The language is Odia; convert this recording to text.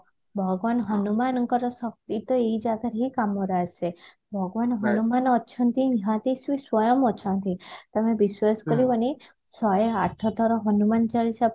ଭଗବାନ ହନୁମାନଙ୍କର ଶକ୍ତି ତ ଏଇ ଜାଗା ରେ ହିଁ କାମରେ ଆସେ ଭଗବାନ ହନୁମାନ ଅଛନ୍ତି ନିହାତି ସେ ସ୍ଵୟଂ ଅଛନ୍ତି ତମେ ବିଶ୍ବାସ କରିବନି ଶହେ ଆଠ ଥର ହନୁମାନ ଚାଳିଶା